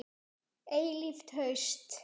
Eilíft haust.